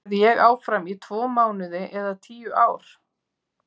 Verð ég áfram í tvo mánuði eða tíu ár?